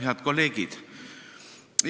Head kolleegid!